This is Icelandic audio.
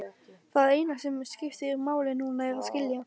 Það eina sem skiptir máli núna er að skilja.